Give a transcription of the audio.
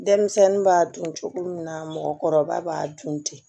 Denmisɛnnin b'a dun cogo min na mɔgɔkɔrɔba b'a dun ten